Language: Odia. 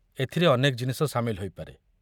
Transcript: ଏଥିରେ ଅନେକ ଜିନିଷ ସାମିଲ ହୋଇପାରେ।